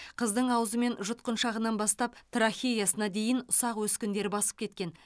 қыздың аузы мен жұтқыншағынан бастап трахеясына дейін ұсақ өскіндер басып кеткен